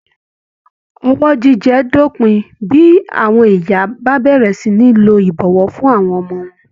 Ọwọ́ jíjẹ á dópin bí àwọn ìyá bá bẹ̀rẹ̀ sí ní lo ìbọwọ́ fún àwọn ọmọ wọn